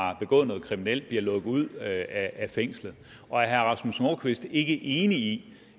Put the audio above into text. have begået noget kriminelt bliver lukket ud af fængslet og er herre rasmus nordqvist ikke enig i